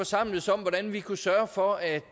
samles om hvordan vi kunne sørge for at